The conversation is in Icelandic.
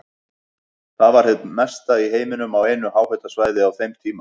Það var hið mesta í heiminum á einu háhitasvæði á þeim tíma.